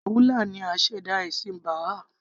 Baha'u'llah ni aṣẹ̀dá ẹ̀sìn Baha'i